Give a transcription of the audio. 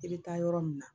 I bɛ taa yɔrɔ min na